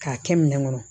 K'a kɛ minɛn kɔnɔ